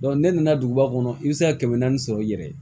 n'e nana duguba kɔnɔ i bɛ se ka kɛmɛ naani sɔrɔ i yɛrɛ ye